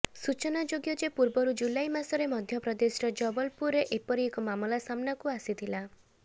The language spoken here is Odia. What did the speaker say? ସୂଚନାଯୋଗ୍ୟ ଯେ ପୂର୍ବରୁ ଜୁଲାଇ ମାସରେ ମଧ୍ୟପ୍ରଦେଶର ଜବଲପୁରେ ଏପରି ଏକ ମାମଲା ସାମ୍ନାକୁ ଆସିଥିଲା